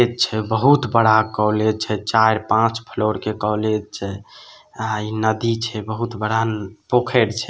बहुत बड़ा कॉलेज छै चार-पांच फ्लोर के कॉलेज छै अ ई नदी छै बहुत बड़ा पोखर छै।